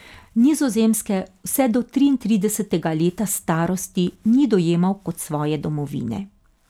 Nizozemske vse do triintridesetega leta starosti ni dojemal kot svoje domovine.